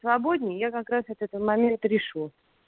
свободней я как раз этот момент решу